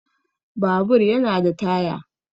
Babur yana da Taya